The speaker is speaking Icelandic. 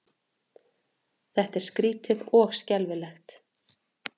Þetta var skrýtið og skelfilegt.